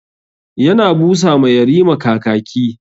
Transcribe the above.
Ya na busa ma yarima kakaki.